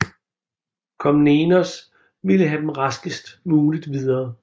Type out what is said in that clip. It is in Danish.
Komnenos ville have dem raskest muligt videre